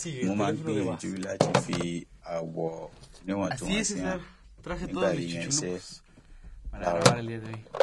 mo máa ń gbìyànjú láti fi àwọ níwọntúnwọnsì hàn nígbà yíyan aṣọ iṣẹ láàárọ